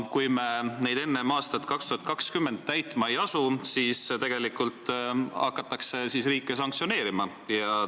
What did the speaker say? Kui me neid enne aastat 2020 täitma ei asu, siis hakatakse sanktsioneerima.